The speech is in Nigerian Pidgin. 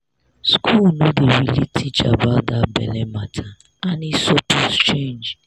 school no dey really teach about that belle matter and e suppose change.